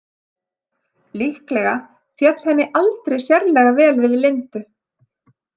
Líklega féll henni aldrei sérlega vel við Lindu.